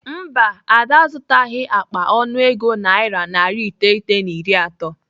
Mba, Ada azụtaghị akpa ọnụego naira narị iteghete na iri atọ.